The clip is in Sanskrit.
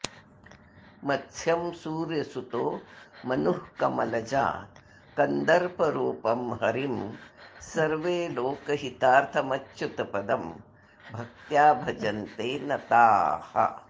मत्स्यं सूर्यसुतो मनुः कमलजा कन्दर्परूपं हरिं सर्वे लोकहितार्थमच्युतपदं भक्त्या भजन्ते नताः